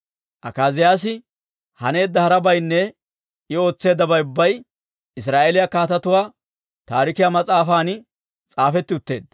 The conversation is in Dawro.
Akaaziyaasi haneedda harabaynne I ootseeddabay ubbay Israa'eeliyaa Kaatetuu Taarikiyaa mas'aafan s'aafetti utteedda.